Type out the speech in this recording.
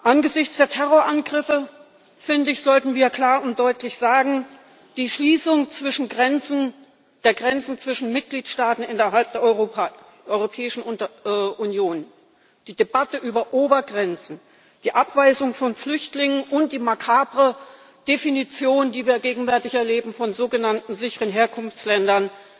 Angesichts der Terrorangriffe sollten wir klar und deutlich sagen Die Schließung der Grenzen zwischen Mitgliedstaaten innerhalb Europäischen Union, die Debatte über Obergrenzen, die Abweisung von Flüchtlingen und die makabre Definition, die wir gegenwärtig erleben, von sogenannten sicheren Herkunftsländern,